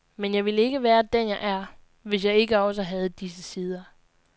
Men jeg ville ikke være den, jeg er, hvis jeg ikke også havde disse sider.